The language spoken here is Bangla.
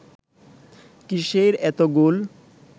কিসের এত গোল